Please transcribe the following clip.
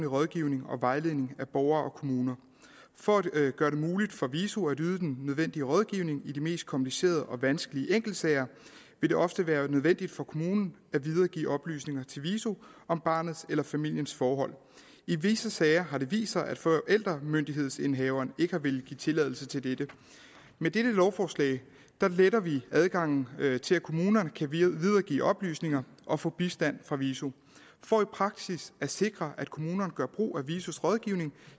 rådgivning og vejledning af borgere og kommuner for at gøre det muligt for viso at yde den nødvendige rådgivning i de mest komplicerede og vanskelige enkeltsager vil det ofte være nødvendigt for kommunen at videregive oplysninger til viso om barnets eller familiens forhold i visse sager har det vist sig at forældremyndighedsindehaveren ikke har villet give tilladelse til dette med dette lovforslag letter vi adgangen til at kommunerne kan videregive oplysninger og få bistand fra viso for i praksis at sikre at kommunerne gør brug af visos rådgivning